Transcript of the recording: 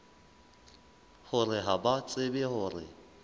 hore ha ba tsebe hore